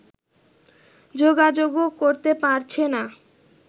যোগাযোগও করতে পারছে না